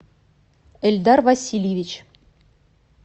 эльдар васильевич